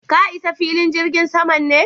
ka Isa filin jirgin sama ne?